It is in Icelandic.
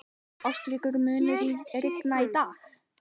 Ástríkur, mun rigna í dag?